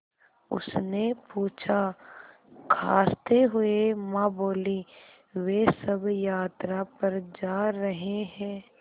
उसने पूछा खाँसते हुए माँ बोलीं वे सब यात्रा पर जा रहे हैं